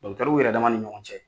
yɛrɛ dama ni ɲɔgɔn cɛ.